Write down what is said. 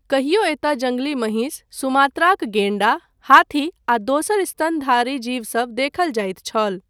कहियो एतय जङ्गली महिष , सुमात्राक गैंण्डा, हाथी आ दोसर स्तनधारी जीवसभ देखल जाइत छल।